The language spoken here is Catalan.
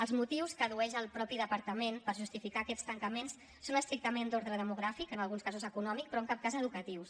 els motius que addueix el mateix departament per justificar aquests tancaments són estrictament d’ordre demogràfic en alguns casos econòmic però en cap cas educatius